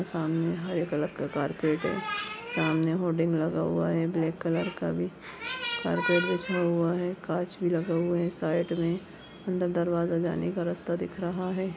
सामने हरे कलर का कार्पेट हैं सामने होडिंग लगा हुआ है ब्लैक कलर का भी कार्पेट बिछा हुआ है कांच भी लगा हुआ है साइड में अंदर दरवाजा जाने का रास्ता दिख रहा है।